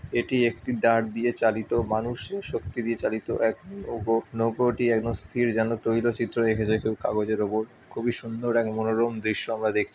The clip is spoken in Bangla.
এটি একটি দাঁড় দিয়ে চালিত মানুষের শক্তি দিয়ে চালিত এক নৌকো। নৌকোটি একদম স্থির যেন তৈল চিত্র এঁকেছে কেউ কাগজের উপর। খুবই সুন্দর এক মনোরম দৃশ্য আমরা দেখছি।